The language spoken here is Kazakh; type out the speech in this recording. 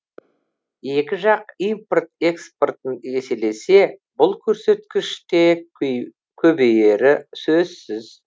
екі жақ импорт экспортын еселесе бұл көрсеткіш те көбейері сөзсіз